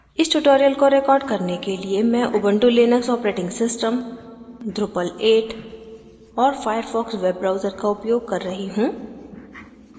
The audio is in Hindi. इस tutorial को record करने के लिए मैं Ubuntu Linux operating system drupal 8 और firefox वेब ब्राउजर का उपयोग कर रही हूँ